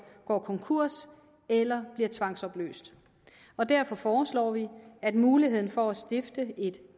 går konkurs eller bliver tvangsopløst og derfor foreslår vi at muligheden for at stifte et